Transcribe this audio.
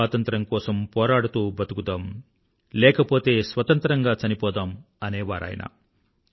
స్వాతంత్రం కోసం పోరాడుతూ బ్రతికుతాం లేకపోతే స్వాతంత్రంగా చనిపోతాం అనేవారాయన